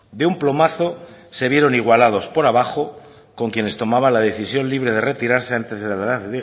de un plumazo se vieron igualados por abajo con quienes tomaban la decisión libre de retirarse antes de la edad